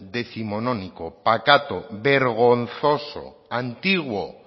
décimonónico pacato vergonzoso antiguo